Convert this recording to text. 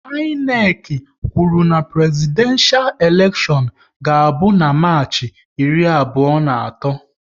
INEC kwụrụ na Prezidenshal elekshion ga abụ na Marchi iri abụọ na atọ